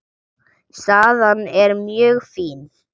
Staðan er mjög fín.